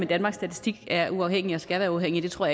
danmarks statistik er uafhængigt og skal være uafhængigt det tror